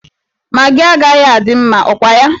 Magị agaghị adị mma, ọ kwa ya?